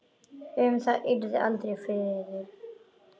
Um það yrði aldrei friður!